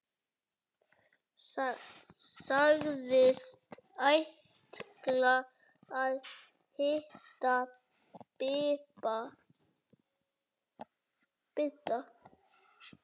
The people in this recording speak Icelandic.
Sagðist ætla að hitta Bibba.